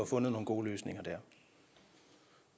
fundet nogle gode løsninger dér